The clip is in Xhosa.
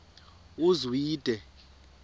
uzwide